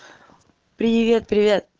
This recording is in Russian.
привет привет